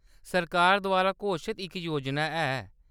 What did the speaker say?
सरकार द्वारा घोशत इक योजना ऐ।